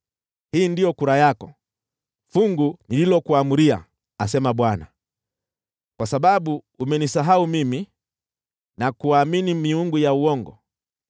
Hii ndiyo kura yako, fungu nililokuamuria,” asema Bwana , “kwa sababu umenisahau mimi na kuamini miungu ya uongo.